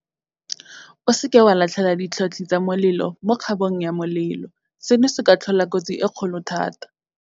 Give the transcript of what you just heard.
O seke wa latlhela ditlho tlhi tsa molelo mo kgabo ng ya molelo. Seno se ka tlhola kotsi e kgolo thata.